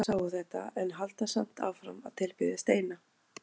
Margir þeirra sáu þetta en halda samt áfram að tilbiðja steina.